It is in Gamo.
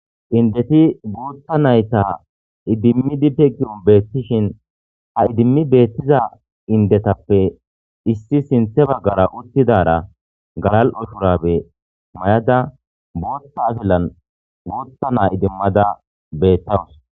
indeti guutta nayta idimmi be ki'on beettishin ha idimmi beettiza indetappe issi sinthe baggara uttidara galal7o shurabe may7ada buutta afilan guutta naa idimmada beettawus